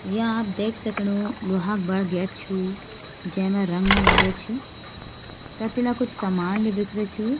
या आप देख सकणू लोहा क बडू गेट छू जैमा रंग न लागरे छ ततिला कुछ समान ले बिखरु छू।